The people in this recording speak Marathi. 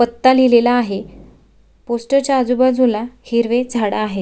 पत्ता लिहलेलला आहे पोस्टर च्या आजूबाजूला हिरवे झाडं आहेत.